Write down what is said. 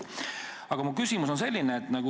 Aga mu küsimus on selline.